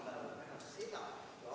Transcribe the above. Istungi lõpp kell 20.28.